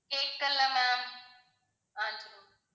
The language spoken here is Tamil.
கேக்கல ma'am ஆஹ் சரி